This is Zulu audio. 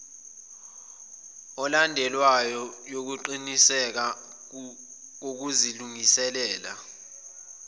elandelwayo yokuqiniseka ukuzilungiselela